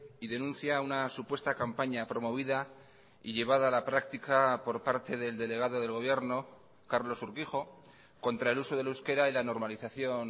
y denuncia una supuesta campaña promovida y llevada a la práctica por parte del delegado del gobierno carlos urquijo contra el uso del euskera y la normalización